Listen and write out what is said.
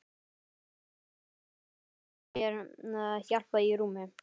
Þegar heim kom var mér hjálpað í rúmið.